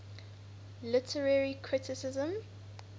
literary criticism